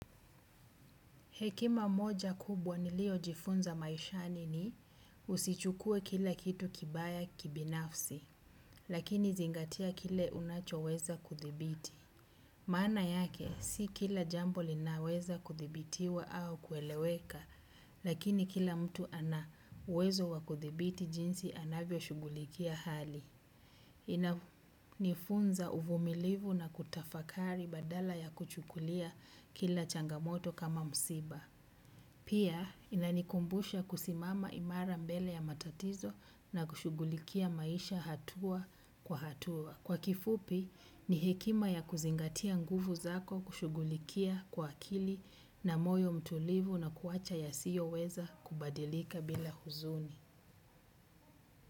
Hekima moja kubwa nilio jifunza maishani ni usichukue kila kitu kibaya kibinafsi, lakini zingatia kile unacho weza kudhibiti. Maana yake, si kila jambo linaweza kuthibitiwa au kueleweka, lakini kila mtu ana uwezo wa kuthibiti jinsi anavyo shughulikia hali. Inanifunza uvumilivu na kutafakari badala ya kuchukulia kila changamoto kama msiba. Pia inanikumbusha kusimama imara mbele ya matatizo na kushughulikia maisha hatua kwa hatua. Kwa kifupi ni hekima ya kuzingatia nguvu zako kushugulikia kwa akili na moyo mtulivu na kuwacha ya siyo weza kubadilika bila huzuni.